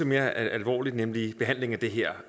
mere alvorligt nemlig behandlingen af det her